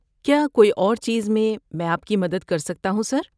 کیا کوئی اور چیز میں مَیں آپ کی مدد کر سکتا ہوں، سر؟